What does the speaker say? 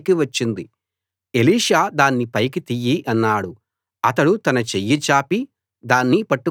Elisha దాన్ని పైకి తియ్యి అన్నాడు వాడు తన చెయ్యి చాపి దాన్ని పట్టుకున్నాడు